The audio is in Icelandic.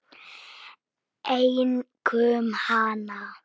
Einkum hana.